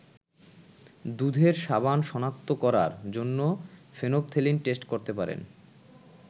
দুধের সাবান শনাক্ত করার জন্য ফেনফথেলিন টেস্ট করতে পারেন।